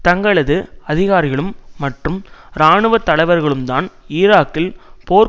தங்களது அதிகாரிகளும் மற்றும் இராணுவ தலைவர்களும்தான் ஈராக்கில் போர்